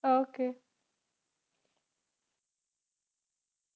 Okay